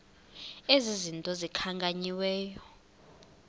ezi zinto zikhankanyiweyo